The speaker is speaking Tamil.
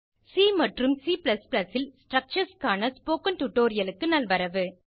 சி மற்றும் C ல் ஸ்ட்ரக்சர்ஸ் க்கான ஸ்போகன் டுடோரியலுக்கு நல்வரவு